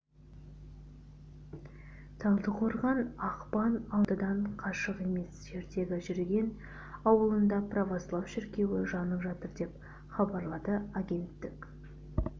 талдықорған ақпан алматыдан қашық емес жердегі турген ауылында православ шіркеуі жанып жатыр деп хабарлады агенттік